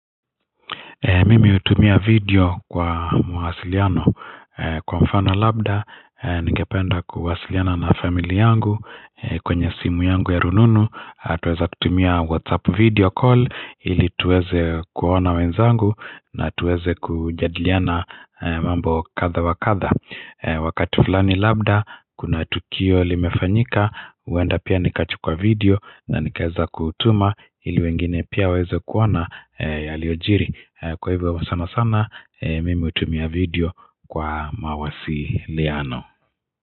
Mimi hutumia video kwa mawasiliano kwa mfana labda ningependa kuwasiliana na family yangu kwenye simu yangu ya rununu tuweza tutumia whatsapp video call ili tuweze kuona wenzangu na tuweze kujadiliana mambo katha wa katha wakati fulani labda kuna tukio limefanyika uenda pia nikachukuwa video na nikaeza kutuma ili wengine pia waeze kuona yaliojiri kwa hivyo wa sana sana mimi utumia video kwa mawasiliano.